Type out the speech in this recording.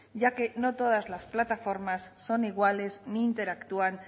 ya que no todas las plataformas son iguales ni interactúan